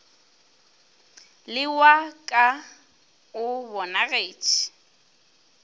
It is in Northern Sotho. le wa ka o bonagetše